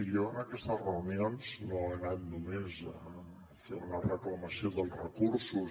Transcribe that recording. jo a aquestes reunions no he anat només a fer una reclamació dels recursos